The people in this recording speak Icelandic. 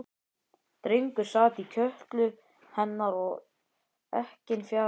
Drengur sat í kjöltu hennar og ekkinn fjaraði út.